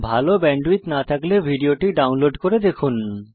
ভাল ব্যান্ডউইডথ না থাকলে ভিডিওটি ডাউনলোড করে দেখুন